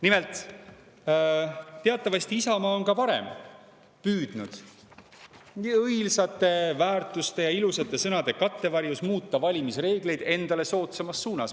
Nimelt, teatavasti on Isamaa ka varem püüdnud õilsate väärtuste ja ilusate sõnade kattevarjus muuta valimisreegleid endale soodsamas suunas.